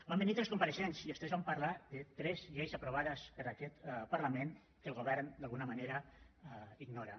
van venir tres compareixents i els tres van parlar de tres lleis aprovades per aquest parlament que el govern d’alguna manera ignora